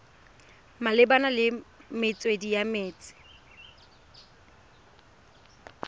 malebana le metswedi ya metsi